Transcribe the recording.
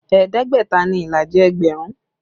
Ẹ̀ẹ́dẹ́gbẹ̀ta ni ìlàjì ẹgbẹ̀rún